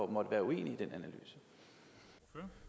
måtte være uenig i